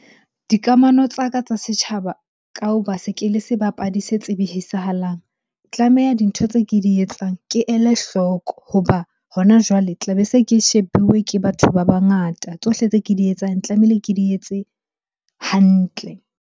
Dikamano tsa ka tsa setjhaba ka ho ba se ke le sebapadi se tsebihisahalang. Tlameha dintho tse ke di etsang ke ele hloko hoba hona jwale tlabe se ke shebuwe ke batho ba bangata. Tsohle tse ke di etsang, tlamehile ke di etse hantle.